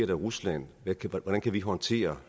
i rusland hvordan kan vi håndtere